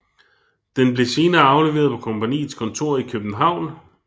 Den blev senere afleveret på kompagniets kontor i København